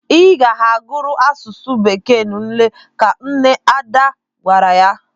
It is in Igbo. Ị ga-ahọrọ asụsụ Bekee n'ule! Ka nne Ada gwara ya.